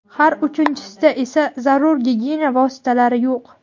har uchinchisida esa zarur gigiyena vositalari yo‘q.